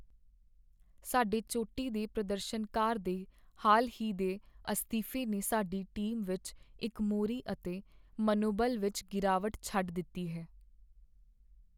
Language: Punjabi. ਸਾਡੇ ਚੋਟੀ ਦੇ ਪ੍ਰਦਰਸ਼ਨਕਾਰ ਦੇ ਹਾਲ ਹੀ ਦੇ ਅਸਤੀਫੇ ਨੇ ਸਾਡੀ ਟੀਮ ਵਿੱਚ ਇੱਕ ਮੋਰੀ ਅਤੇ ਮਨੋਬਲ ਵਿੱਚ ਗਿਰਾਵਟ ਛੱਡ ਦਿੱਤੀ ਹੈ।